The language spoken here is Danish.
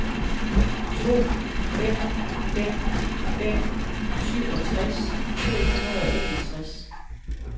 to fem fem fem syvogtres to hundrede og enogtres